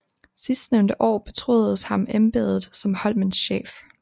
Sidstnævnte år betroedes ham embedet som Holmens chef